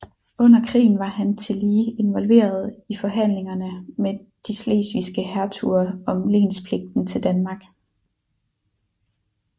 Under krigen var han tillige involveret i forhandlingerne med de slesvigske hertuger om lenspligten til Danmark